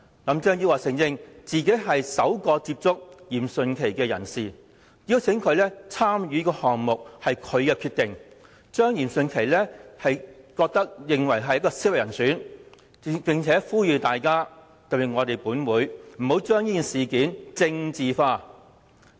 林鄭月娥承認，她親自接觸嚴迅奇，邀請他參與項目也是她的決定，指嚴迅奇是合適人選，並呼籲外界，特別是立法會不要把事件政治化。